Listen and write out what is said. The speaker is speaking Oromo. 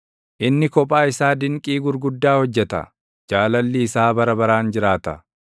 inni kophaa isaa dinqii gurguddaa hojjeta; Jaalalli isaa bara baraan jiraata.